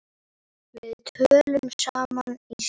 Við töluðum saman í síma.